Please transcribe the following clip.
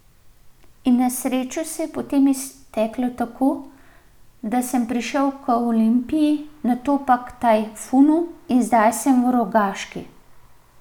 In na srečo se je potem izteklo tako, da sem prišel k Olimpiji, nato k Tajfunu in zdaj sem v Rogaški.